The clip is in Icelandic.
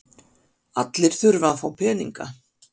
Allir þurfa að fá peninga.